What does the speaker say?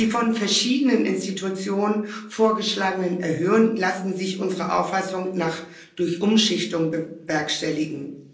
die von verschiedenen Institutionen vorgeschlagenen Erhöhungen lassen sich unserer Auffassung nach durch Umschichtungen bewerkstelligen.